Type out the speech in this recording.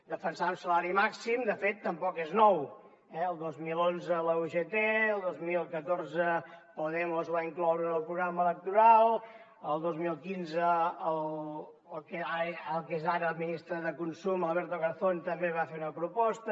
defensar el salari màxim de fet tampoc és nou eh el dos mil onze la ugt el dos mil catorze podemos ho va incloure en el programa electoral el dos mil quinze el que és ara el ministre de consum alberto garzón també va fer una proposta